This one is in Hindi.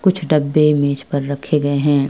कुछ डब्बे मेज पर रखे गए हैं।